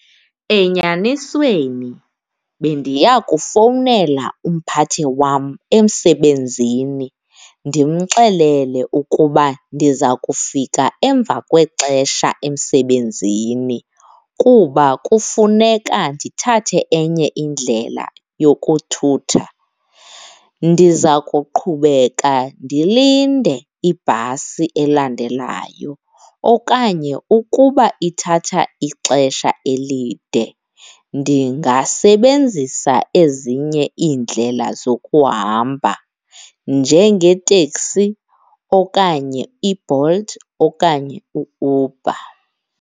Enyanisweni, bendiya kufowunela umphathi wam emsebenzini ndimxelele ukuba ndiza kufika emva kwexesha emsebenzini kuba kufuneka ndithathe enye indlela yokuthutha. Ndiza kuqhubeka ndilinde ibhasi elandelayo okanye ukuba ithatha ixesha elide ndingasebenzisa ezinye iindlela zokuhamba njengeeteksi okanye iBolt okanye uUber.